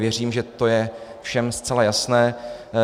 Věřím, že je to všem zcela jasné.